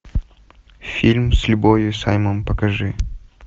фильм с любовью саймон покажи